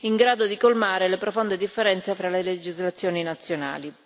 in grado di colmare le profonde differenze fra le legislazioni nazionali.